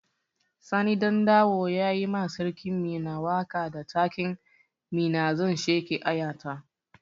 Sani Ɗandawo ya yi ma sarkin Minna waƙa da taken "Minna zan sheƙe aya ta"